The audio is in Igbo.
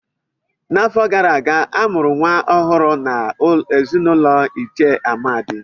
N'afọ gara aga, a mụrụ nwa ọhụrụ n'ezinụlọ Ichie Amadi.